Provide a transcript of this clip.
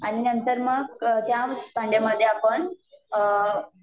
आणि नंतर मग त्याच भांड्यामध्ये आपण